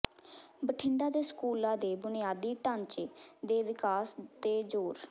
ਬਠਿੰਡਾ ਦੇ ਸਕੂਲਾਂ ਦੇ ਬੁਨਿਆਦੀ ਢਾਂਚੇ ਦੇ ਵਿਕਾਸ ਤੇ ਜੋਰ